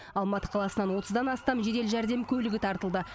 алматы қаласынан отыздан астам жедел жәрдем көлігі тартылды